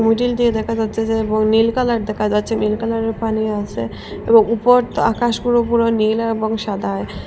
Grill দিয়ে দেখা যাচ্ছে যে এবং নীল কালার দেখা যাচ্ছে নীল কালারের পানি আসে এবং উপর তো আকাশ পুরো পুরো নীল এবং সাদায়।